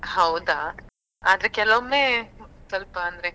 ಹೌದಾ ಆದ್ರೆ ಕೆಲವೊಮ್ಮೆ ಸ್ವಲ್ಪ ಅಂದ್ರೆ.